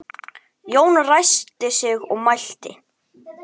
Jón ræskti sig og mælti